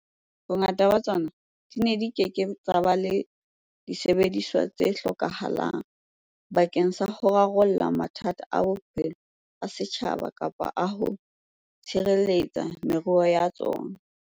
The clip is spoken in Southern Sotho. Bongata ba tsona di ne di ke ke tsa ba le disebediswa tse hlokahalang bakeng sa ho rarolla mathata a bophelo a setjhaba kapa ho tshireletsa meruo ya tsona.